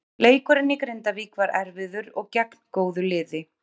Leikurinn í Grindavík var erfiður og gegn góðu liði.